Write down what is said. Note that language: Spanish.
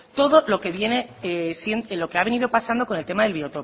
todo lo que ha venido pasando con el tema del biotopo